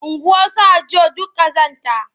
Unguwarsu Hajjo duk ƙazanta.